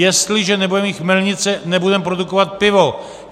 Jestliže nebudeme mít chmelnice, nebudeme produkovat pivo.